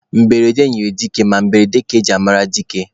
Mberede nyịrị dike ma mberede ka e ji ama dike.